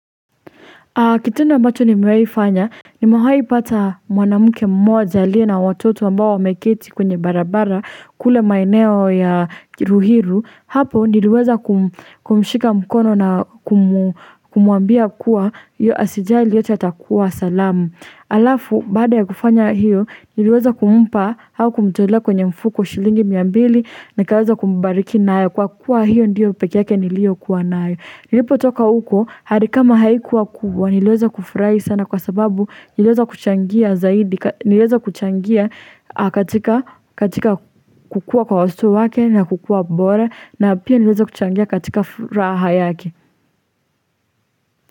Kitendo amabacho nimewahifanya nimewahipata mwanamke mmoja aliye na watoto ambao wameketi kwenye barabara kule maneo ya ruiru hapo niliweza kumshika mkono na kumwambia kua hiyo asijaili yote yatakuwa salamu. Alafu baada ya kufanya hiyo niliweza kumpa au kumtolea kwenye mfuko shilingi mia mbili na kaweza kumbariki nayo kwa kuwa hiyo ndiyo peke yake niliokuwa nayo nilipo toka huko hali kama haikuwa kubwa nilweza kufurahi sana kwa sababu nilweza kuchangia zaidi nilweza kuchangia katika katika kukua kwa uso wake na kukua bora na pia nilweza kuchangia katika furaha yake.